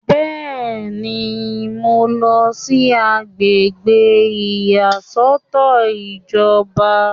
Bẹ́ẹ̀ni, mo ń lọ sí àgbègbè ìyàsọ́tọ̀ ìjọba